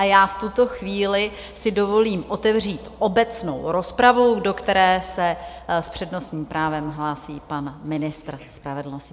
A já v tuto chvíli si dovolím otevřít obecnou rozpravu, do které se s přednostním právem hlásí pan ministr spravedlnosti.